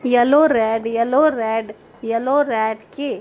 yellow red yellow red yellow red के --